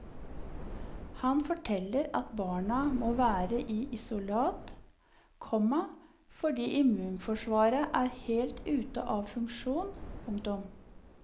Han forteller at barna må være i isolat, komma fordi immunforsvaret er helt ute av funksjon. punktum